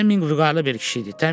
Fleminq vüqarlı bir kişi idi.